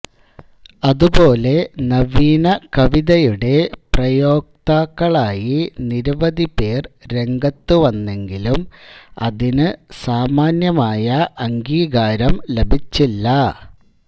അതുപോലെ നവീന കവിതയുടെ പ്രയോക്താക്കളായി നിരവധി പേർ രംഗത്തുവന്നെങ്കിലും അതിനു സാമാന്യമായ അംഗീകാരം ലഭിച്ചില്ല